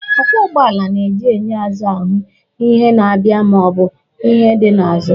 Ọgwọ ụgbọala na-eji enyo azụ ahụ ihe na-abịa ma ọ bụ ihe dị ya n'azụ